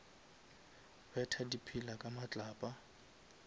betha di pillar ka matlapa